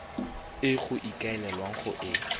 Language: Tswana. e go ikaelelwang go e